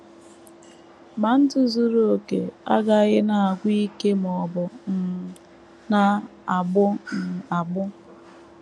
Ma, ndụ zuru okè agaghị na - agwụ ike ma ọ bụ um na - agbụ um agbụ.